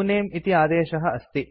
उनमे इति आदेशः अस्ति